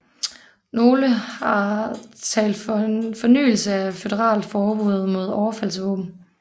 Nogle har talt for en fornyelse af et føderalt forbud mod overfaldsvåben